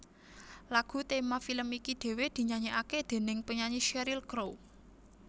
Lagu tema film iki dhéwé dinyanyèkaké déning penyanyi Sheryl Crow